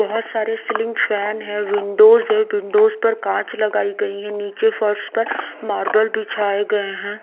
बहुत सारे ceiling fan है विंडोज है विंडोज पर कांच लगाई गई है। नीचे फर्श पर मार्बल बिछाई गई है।